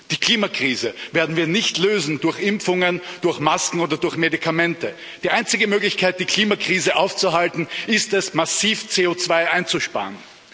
Die Klimakrise werden wir nicht lösen durch Impfungen, durch Masken oder durch Medikamente. Die einzige Möglichkeit, die Klimakrise aufzuhalten, ist es, massiv CO2 einzusparen.